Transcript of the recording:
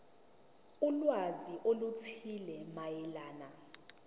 ulwazi oluthile mayelana